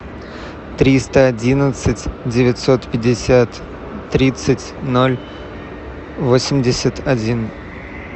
триста одиннадцать девятьсот пятьдесят тридцать ноль восемьдесят один